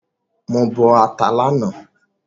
Mo bọ ata lánàá